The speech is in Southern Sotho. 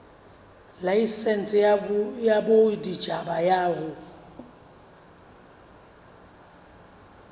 laesense ya boditjhaba ya ho